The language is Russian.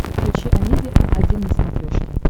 включи амедиа один на смотрешке